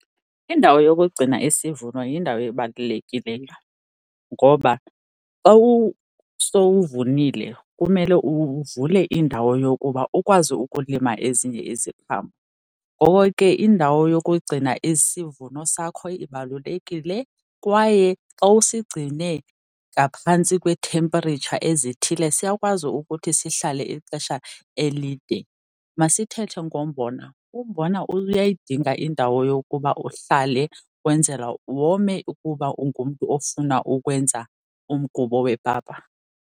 Indawo yokugcina isivuno yindawo ebalulekileyo ngoba xa sowuvunile kumele uvule indawo yokuba ukwazi ukulima ezinye iziqhamo. Ngoko ke indawo yokugcina isivuno sakho ibalulekile kwaye xa usigcine ngaphantsi kweethempritsha ezithile, siyakwazi ukuthi sihlale ixesha elide. Masithethe ngombona, umbona uyayidinga indawo yokuba uhlale wenzela wome ukuba ungumntu ofuna ukwenza umgubo wepapa.